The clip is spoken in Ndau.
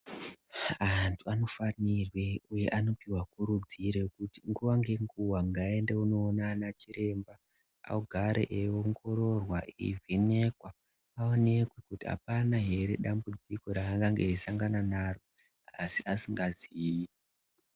Antu anofanirwe uye anokurudzire kuti nguwa nenguwa ngaaende kunoona ana chiremba agare eiongororwa eivhenekwa aonekwe kuti apana here dambudziko raakange eisangana naro asi asingazii.